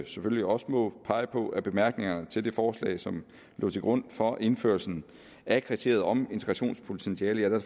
selvfølgelig også må pege på af bemærkningerne til det forslag som lå til grund for indførelsen af kriteriet om integrationspotentiale